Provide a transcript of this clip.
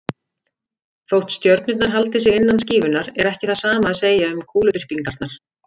Þótt stjörnurnar haldi sig innan skífunnar er ekki það sama að segja um kúluþyrpingarnar.